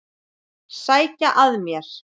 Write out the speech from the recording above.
Sækja að mér.